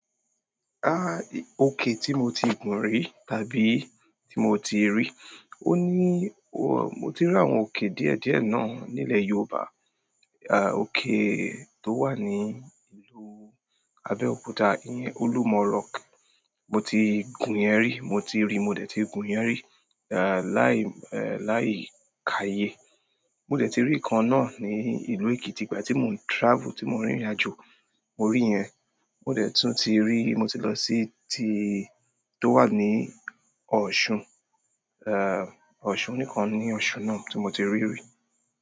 Ah, òkè tí mo ti gùn rí tàbí tí mo ti rí, ó ní, mo ti rí àwọn òkè díẹ̀ díẹ̀ náà nílẹ̀ Yorùbá. Ah, òkè tó wà ní ìlú Abeokuta, ìyẹn Olúmọ rọock, mo ti gùn yẹn rí, mo ti rí, mo dẹ̀ ti gùn yẹn rí, eh, láì, eh, láì kàyé. Mo dẹ̀ ti rí ìkan náà ní ìlú Èkìtì ìgbà tí mo ń travel, tí mo ń rìnrìnàjò, mo rí yẹn. Mo dẹ̀ tún ti rí, mo ti lọ sí ti tó wà ní Ọ̀ṣun, eh, Ọ̀ṣun nìkan ni Ọ̀ṣun náà tó mo ti rí rí.